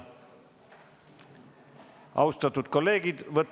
Austatud kolleegid!